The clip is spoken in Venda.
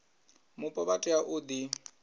mupo vha tea u ḓi